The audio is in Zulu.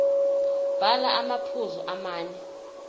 bhala amaphuzu amane